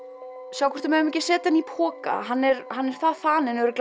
sjáum hvort við megum ekki að setja hann í poka hann er hann er það þaninn